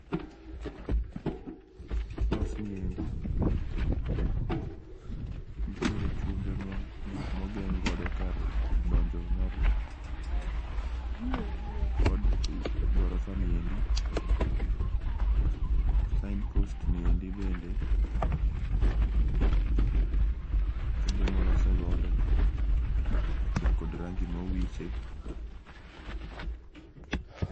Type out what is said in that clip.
? ni endi nitiere chumbe ma ogeng godo kar donjo mar od gorofa ni endi, sign post ni bende chumbe molose godo kaachiel kod rangi ma owiche.